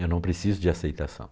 Eu não preciso de aceitação.